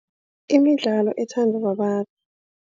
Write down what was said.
Imidlalo ethandwa babantu.